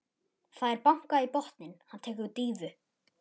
Það er bankað í botninn, hann tekur dýfu.